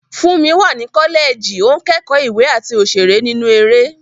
Fúnmi wà ní kọ́lẹ́ẹ̀jì, ó ń kẹ́kọ̀ọ́ ìwé àti òṣèré nínú eré.